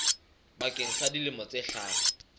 bakeng sa dilemo tse hlano